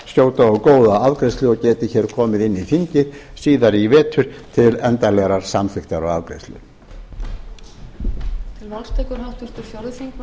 skjóta og góða afgreiðslu og geti komið inn í þingið síðar í vetur til endanlegrar samþykktar og afgreiðslu